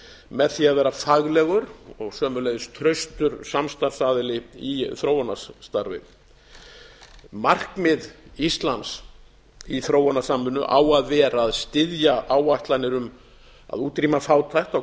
með því að vera faglegur og sömuleiðis traustur samstarfsaðili í þróunarstarfi markmið íslands í þróunarsamvinnu á að vera að styðja áætlanir um að útrýma fátækt á